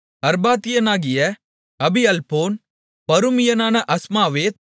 அர்பாத்தியனாகிய அபிஅல்பொன் பருமியனான அஸ்மாவேத்